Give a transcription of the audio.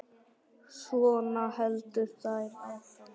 Svona héldu þær áfram.